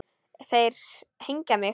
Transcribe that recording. Þeir hengja mig?